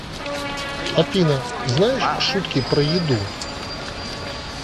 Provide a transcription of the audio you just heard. афина знаешь шутки про еду